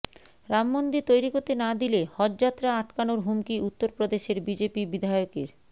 রামমন্দির তৈরি করতে না দিলে হজযাত্রা আটকানোর হুমকি উত্তরপ্রদেশের বিজেপি বিধায়কের